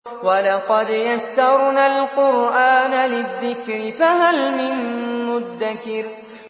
وَلَقَدْ يَسَّرْنَا الْقُرْآنَ لِلذِّكْرِ فَهَلْ مِن مُّدَّكِرٍ